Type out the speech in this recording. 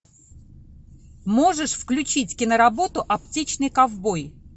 можешь включить киноработу аптечный ковбой